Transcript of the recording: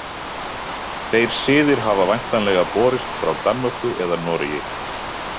Þeir siðir hafa væntanlega borist frá Danmörku eða Noregi.